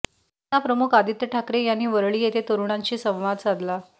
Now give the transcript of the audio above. युवासेना प्रमुख आदित्य ठाकरे यांनी वरळी येथे तरूणांशी संवाद साधला